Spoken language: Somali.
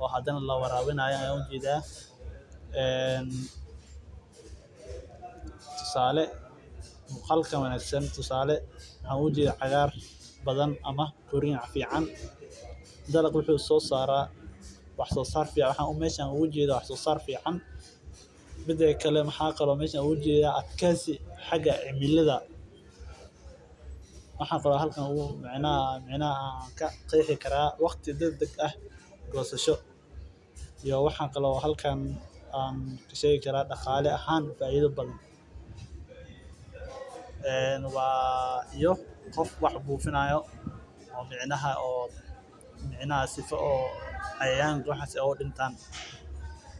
oo lawarabini haayo tusaale muqalka wanagsan cagaar badan oo fican wax soo saar fiacna adjeysi xaga cimilada waqti dagdag ah iyo gosasha iyo qof wax buufinayo si oo cayayaanka aay udirtaan.